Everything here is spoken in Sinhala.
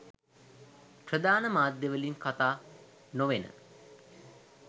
ප්‍රධාන මාධ්‍යවලින් කතා නොවෙන